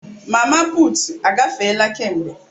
Mama putu agafeela kemgbe.